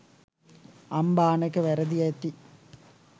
අම්බානක වැරදි ඇති